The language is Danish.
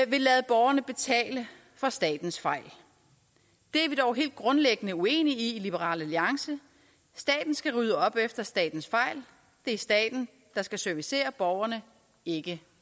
lade borgerne betale for statens fejl det er vi dog helt grundlæggende uenige i i liberal alliance staten skal rydde op efter statens fejl det er staten der skal servicere borgerne ikke